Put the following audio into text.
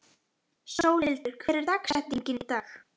Sólhildur, hver er dagsetningin í dag?